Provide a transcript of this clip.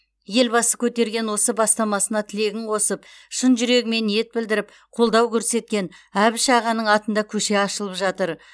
елбасы көтерген осы бастамасына тілегін қосып шын жүрегімен ниет білдіріп қолдау көрсеткен әбіш ағаның атында көше ашылып жатыр